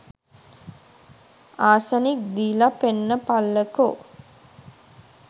Arsenic දීල පෙන්නපල්ලකෝ.